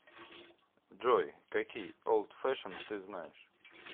джой какие олд фешен ты знаешь